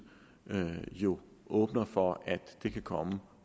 jo åbner for at det kan komme